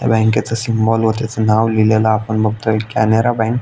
बँकेच सिंबल व त्याच नाव लिहिलेल आपण बघतोय कॅनरा बँक .